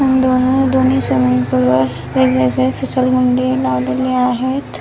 दोन अ दोन्ही स्विमींग पुलवर वेगवेगळे फिसल गुंडी लावलेली आहेत.